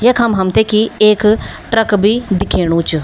यखम हमथे की एक ट्रक भी दिखेणु च।